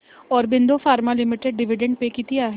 Aurobindo pharma limited dividend pay किती आहे